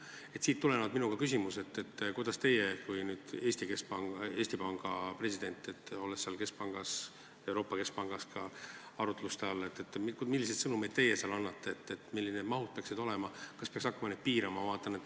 Sellest tulenevalt ka minu küsimus: milliseid sõnumeid teie kui Eesti Panga president Euroopa Keskpanga aruteludel osaledes annate, et millised need mahud peaksid olema ja kas neid peaks hakkama piirama?